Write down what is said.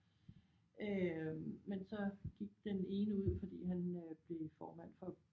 Øh men så gik den ene ud fordi han øh blev formand for